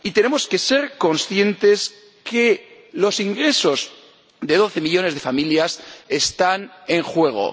Y tenemos que ser conscientes de que los ingresos de doce millones de familias están en juego.